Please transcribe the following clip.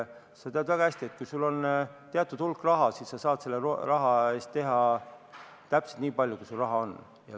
Sa tead väga hästi, et kui sul on teatud hulk raha, siis sa saad teha täpselt nii palju, kui palju sul raha on.